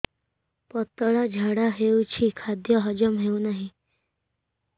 ପତଳା ଝାଡା ହେଉଛି ଖାଦ୍ୟ ହଜମ ହେଉନାହିଁ